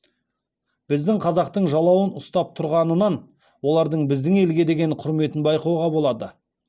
біздің қазақтың жалауын ұстап тұрғанынан олардың біздің елге деген құрметін байқауға болады